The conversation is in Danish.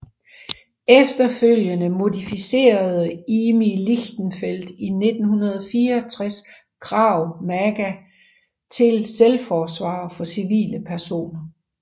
Efterfølgende modificerede Imi Lichtenfeld i 1964 Krav Maga til selvforsvar for civile personer